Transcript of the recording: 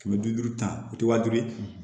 Kɛmɛ bi duuru ta o ti wa duuru ye